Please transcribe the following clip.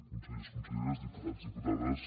consellers conselleres diputats diputades